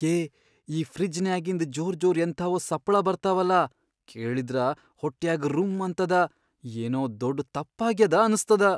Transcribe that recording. ಏ ಈ ಫ್ರಿಜ್ಜನ್ಯಾಗಿಂದ್ ಜೋರ್ ಜೋರ್ ಎಂಥಾವೊ ಸಪ್ಪಳಾ ಬರ್ತಾವಲಾ ಕೇಳಿದ್ರ ಹೊಟ್ಯಾಗ್ ರುಂ ಅಂತದ, ಏನೋ ದೊಡ್ ತಪ್ಪಾಗ್ಯಾದ ಅನ್ಸ್ತದ.